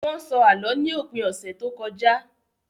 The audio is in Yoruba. Wọ́n sọ Àlọ́ ní òpin ọ̀sẹ̀ tó kọjá